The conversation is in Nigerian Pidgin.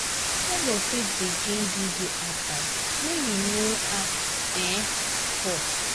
Neighbour fit begin give you advise wey you no ask um for